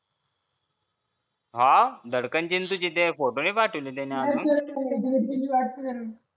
हां धडकन चे आणि तुझे photo नाही पाठवले त्यांनी अजून